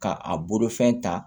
K'a a bolofɛn ta